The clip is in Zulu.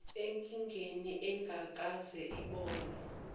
enkingeni engakaze ibonwe